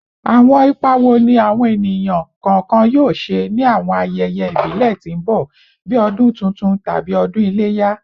Awọn ipa wo ni awọn eniyan kọọkan yoo ṣe ni awọn ayẹyẹ ibile ti n bọ bii Ọdun Tuntun tabi Odun Ileya?